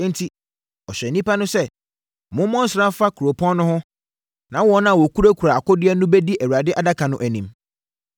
Enti, ɔhyɛɛ nnipa no sɛ, “Mommɔ nsra mfa kuropɔn no ho na wɔn a wɔkurakura akodeɛ no bɛdi Awurade adaka no anim.”